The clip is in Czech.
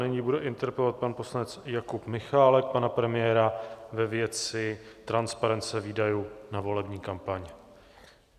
Nyní bude interpelovat pan poslanec Jakub Michálek pana premiéra ve věci transparence výdajů na volební kampaň.